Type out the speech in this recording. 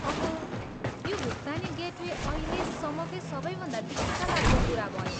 अहो, यो भुक्तानी गेटवे अहिलेसम्मकै सबैभन्दा दिक्कलाग्दो कुरा भयो।